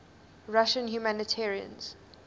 russian humanitarians